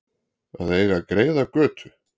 Að eiga greiða götu